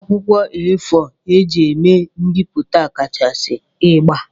Akwụkwọ A4 eji eme bipụta kachasị ịgba.